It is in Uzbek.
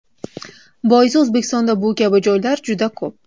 Boisi O‘zbekistonda bu kabi joylar juda ko‘p.